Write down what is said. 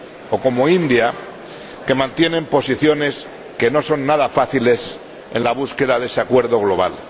o como la India, que mantienen posiciones que no son nada fáciles en la búsqueda de ese acuerdo global.